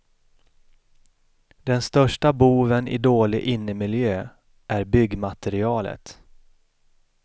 Den största boven i dålig innemiljö är byggmaterialet.